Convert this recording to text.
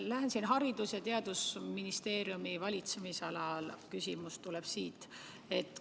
Lähen siin Haridus- ja Teadusministeeriumi valitsemisalale, küsimus tuleb selle kohta.